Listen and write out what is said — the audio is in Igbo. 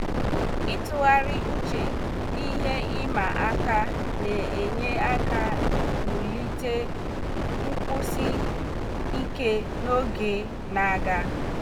ịtụgharị uche na ihe ịma aka na-enye aka wulite nkwụsi ike n'oge na-aga.